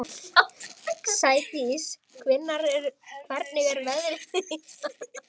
Sædís, hvernig er veðrið í dag?